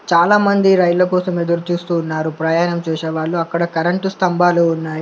చాలామంది రైళ్ల కోసం ఎదురుచూస్తున్నారు ప్రయాణం చేసే వాళ్ళు అక్కడ కరెంటు స్తంభాలు ఉన్నాయి.